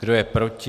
Kdo je proti?